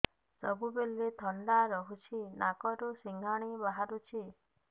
ସବୁବେଳେ ଥଣ୍ଡା ରହୁଛି ନାକରୁ ସିଙ୍ଗାଣି ବାହାରୁଚି